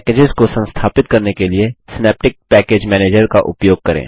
packages को संस्थापित करने के लिए सिनैप्टिक पैकेज मैनेजर का उपयोग करें